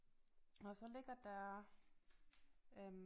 Og så ligger der øh